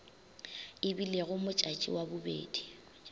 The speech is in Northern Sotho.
e bilego modjadji wa bobedi